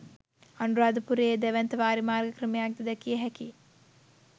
අනුරාධපුරයේ දැවැන්ත වාරිමාර්ග ක්‍රමයක්ද දැකිය හැකියි.